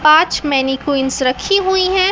पांच मैनिक्विन रखी हुई है।